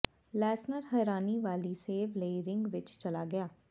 Lesnar ਹੈਰਾਨੀ ਵਾਲੀ save ਲਈ ਰਿੰਗ ਵਿਚ ਚਲਾ ਗਿਆ